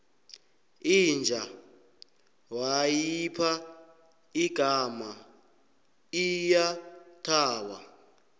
inja wayipha igama iyathaba